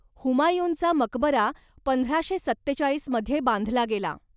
हुमायूनचा मकबरा पंधराशे सत्तेचाळीसमध्ये बांधला गेला.